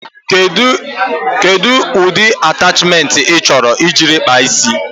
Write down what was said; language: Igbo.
Kedụ ụcha atachmentị ị chọrọ iji kpaa ísí?